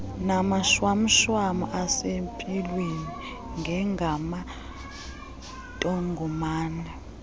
namashwamshwam asempilweni njengamantongomane